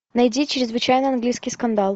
найди чрезвычайный английский скандал